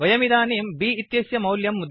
वयमिदानीम् B इत्यस्य मौल्यं मुद्रयामः